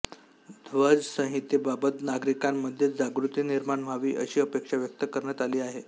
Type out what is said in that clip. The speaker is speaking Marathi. ध्वज संहितेबाबत नागरिकांमध्ये जागृती निर्माण व्हावी अशी अपेक्षा व्यक्त करण्यात आली आहे